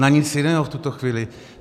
Na nic jiného v tuto chvíli.